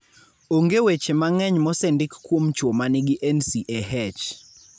Onge weche mang'eny mosendik kuom chwo ma nigi NCAH.